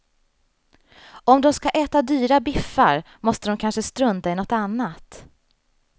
Om de ska äta dyra biffar måste de kanske strunta i något annat.